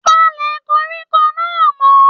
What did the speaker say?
Palẹ koríko náà mọ!